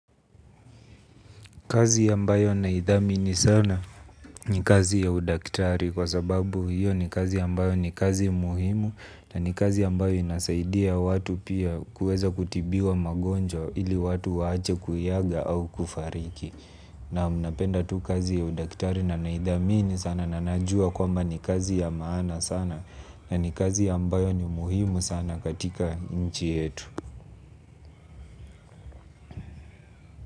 Kazi ambayo naidhamini sana ni jazi ya udaktari kwa sababu hiyo ni kazi ambayo ni kazi muhimu na ni kazi amabayo inasaidia watu pia kuweza kutibiwa magonjwa ili watu waache kuaga au kufariki. Naam napenda tu kazi ya udaktari na naidhami sana na najua kwamba ni kazi ya maana sana na ni kazi ambayo ni muhimu sana katika nchi yetu.